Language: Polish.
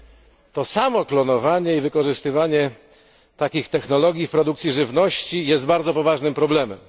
Mimo to samo klonowanie i wykorzystywanie takich technologii w produkcji żywności jest bardzo poważnym problemem.